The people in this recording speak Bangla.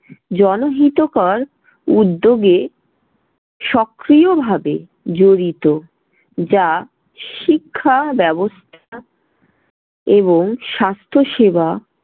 জনহিতকর উদ্যোগে সক্রিয়ভাবে জড়িত। যা শিক্ষা ব্যবস্থা এবং স্বাস্থ্য সেবা